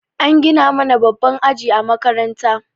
An gina mana babban aji a makaranta.